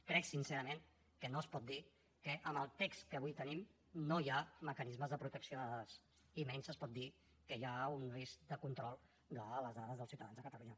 crec sincerament que no es pot dir que amb el text que avui tenim no hi ha mecanismes de protecció de dades i menys es pot dir que hi ha un risc de control de les dades dels ciutadans de catalunya